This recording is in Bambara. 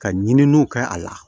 Ka ɲininiw kɛ a la